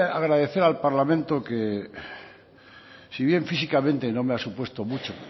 agradecer al parlamento que si bien físicamente no me ha supuesto mucho